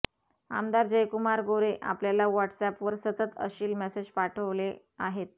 आमदार जयकुमार गोरे आपल्याला व्हाटस्अॅपवर सतत अश्लील मेसेज पाठवले आहेत